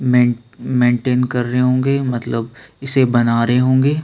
Main maintain कर रहै होंगे मतलब इसे बना रहै होंगे।